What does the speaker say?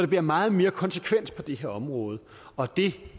bliver meget mere konsekvens på det her område og det